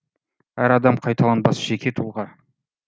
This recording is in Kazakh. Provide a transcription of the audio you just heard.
әр адам қайталанбас жеке тұлға